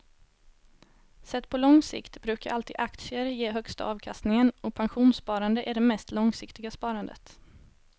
Sett på lång sikt brukar alltid aktier ge högsta avkastningen och pensionssparande är det mest långsiktiga sparandet.